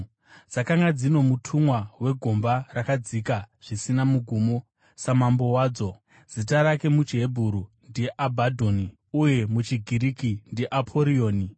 Dzakanga dzino mutumwa wegomba rakadzika zvisina mugumo, samambo wadzo, zita rake muchiHebheru ndiAbhadhoni, uye muchiGiriki, ndiAporioni.